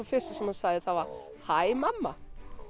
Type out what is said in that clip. fyrsta sem hann sagði var hæ mamma